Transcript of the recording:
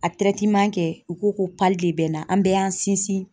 A kɛ u ko ko de bɛ n na, an bɛɛ y'an sinsin